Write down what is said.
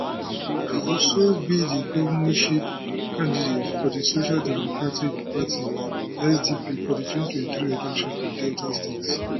e also be di governorship candidate of di social democratic party sdp for di 2023 election for delta state